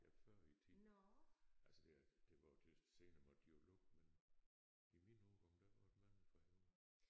Ja før i æ tid. Altså ja det var jo det senere måtte de jo lukke men i min ungdom der var mange fra Højer